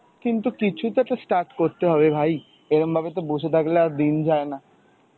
কিন্তু কিছু তো একটা start করতে হবে ভাই, এরাম ভাবে তো বসে থাকলে আর দিন যায় না.